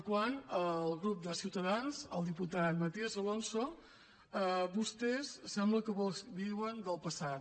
quant al grup de ciutadans al diputat matías alonso vostès sembla que viuen del passat